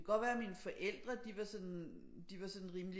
Det kan godt være mine forældre de var sådan de var sådan rimelig